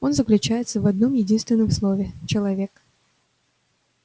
он заключается в одном-единственном слове человек